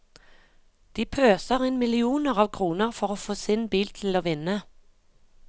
De pøser inn millioner av kroner for å få sin bil til å vinne.